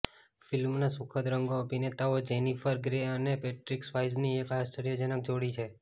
ફિલ્મના સુખદ રંગો અભિનેતાઓ જેનિફર ગ્રે અને પેટ્રિક સ્વાયઝની એક આશ્ચર્યજનક જોડી છે